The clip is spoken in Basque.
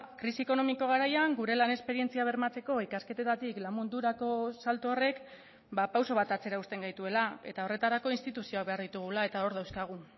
krisi ekonomiko garaian gure lan esperientzia bermatzeko ikasketetatik lan mundurako salto horrek pauso bat atzera uzten gaituela eta horretarako instituzioak behar ditugula eta hor dauzkagu